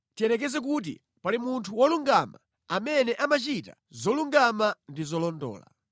“Tiyerekeze kuti pali munthu wolungama amene amachita zolungama ndi zolondola.